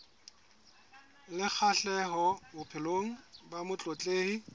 le kgahleho bophelong ba motletlebi